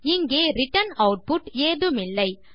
இங்கே return output ஏதுமில்லை